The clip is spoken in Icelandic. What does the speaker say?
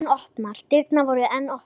Dyrnar voru enn opnar.